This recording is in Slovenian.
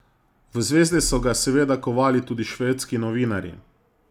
V zvezde so ga seveda kovali tudi švedski novinarji.